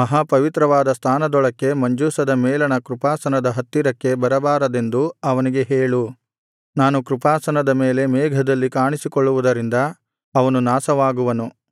ಮಹಾಪವಿತ್ರವಾದ ಸ್ಥಾನದೊಳಕ್ಕೆ ಮಂಜೂಷದ ಮೇಲಣ ಕೃಪಾಸನದ ಹತ್ತಿರಕ್ಕೆ ಬರಬಾರದೆಂದು ಅವನಿಗೆ ಹೇಳು ನಾನು ಕೃಪಾಸನದ ಮೇಲೆ ಮೇಘದಲ್ಲಿ ಕಾಣಿಸಿಕೊಳ್ಳುವುದರಿಂದ ಅವನು ನಾಶವಾಗುವನು